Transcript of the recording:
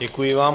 Děkuji vám.